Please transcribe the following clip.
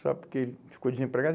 Só porque ele ficou desempregado.